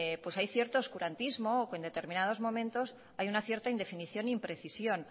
hay ciertos oscurantismo o indeterminados momentos hay una cierta indefinición imprecisión